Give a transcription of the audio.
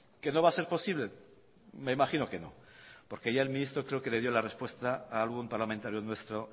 que no va a ser posible me imagino que no porque ya el ministro creo que le dio la respuesta a algún parlamentario nuestro